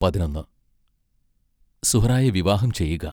പതിനൊന്ന് സുഹ്റായെ വിവാഹം ചെയ്യുക.